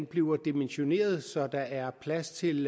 bliver dimensioneret så der er plads til